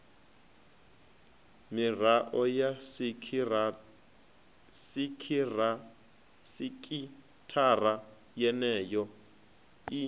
mirao ya sekithara yeneyo i